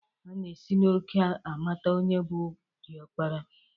Ana esi n'òkè amata onye bụ diọkpara